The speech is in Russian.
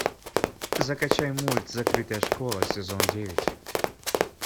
закачай мульт закрытая школа сезон девять